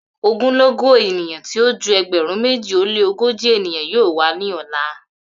Ogunlọgọ eniyan ti o ju ẹgbẹrun meji o le ogoji eniyan yoo wa ni ọla